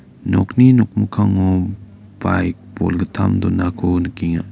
nokni nokmikango baik bolgittam donako nikenga